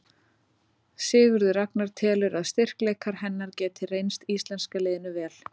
Sigurður Ragnar telur að styrkleikar hennar geti reynst íslenska liðinu vel.